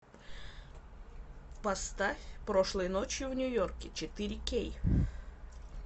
поставь прошлой ночью в нью йорке четыре кей